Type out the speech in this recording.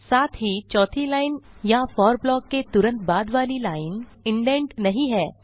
साथ ही चौथी लाइन या फोर ब्लॉक के तुरंत बाद वाली लाइन इंडेंट नहीं है